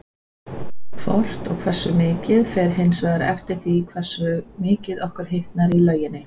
Hvort og hversu mikið fer hins vegar eftir því hversu mikið okkur hitnar í lauginni.